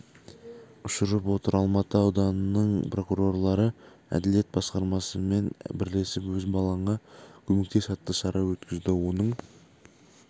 ұшырап отыр алматы ауданының прокурорлары әділет басқармасымен бірлесіп өз балаңа көмектес атты шара өткізді оның